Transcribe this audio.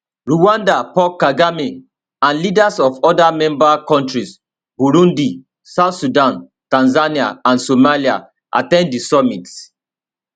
rwanda paul kagame and leaders of oda member kontris burundi south sudan tanzania and somalia at ten d di summit